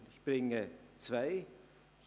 Ich nenne Ihnen zwei Beispiele.